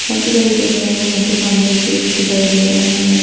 काफी सारी फोटो है यहा पे सामने एक विक्ष दिखाई दे रहा है।